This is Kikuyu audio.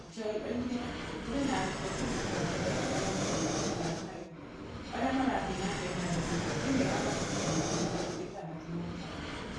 Njai oigire atĩ kũrĩ na arutwo ngiri mũgwaja na igana rĩa mĩrongo ĩtano na ĩmwe arĩa marathiĩ na mbere na gĩthomo thĩinĩ wa mathukuru macio mĩrongo ĩtandatũ na matano.